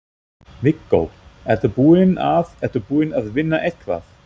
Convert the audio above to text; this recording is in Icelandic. Viggó: Ertu búinn að, ertu búinn að vinna eitthvað?